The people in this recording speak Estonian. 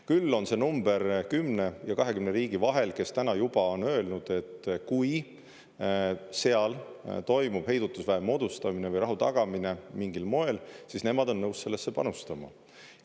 Küll on see number 10 ja 20 riigi vahel, kes täna juba on öelnud, et kui seal toimub heidutusväe moodustamine või rahu tagamine mingil moel, siis nemad on nõus sellesse panustama.